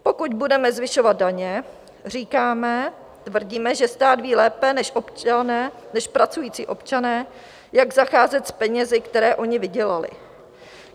Pokud budeme zvyšovat daně, říkáme, tvrdíme, že stát ví lépe než pracující občané, jak zacházet s penězi, které oni vydělali.